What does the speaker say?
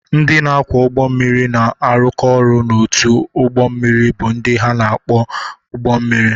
Ndị na-akwọ ụgbọ mmiri na-arụkọ ọrụ ọnụ n’otu ụgbọ mmiri bụ ndị ha na-akwọ ụgbọ mmiri.